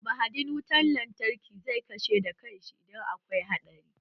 Mahadin wutan lantarki zai kashe da kan shi idan akwai haɗari